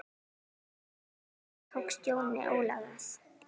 Hvernig tókst Jóni Óla það?